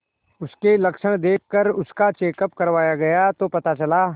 उसके लक्षण देखकरजब उसका चेकअप करवाया गया तो पता चला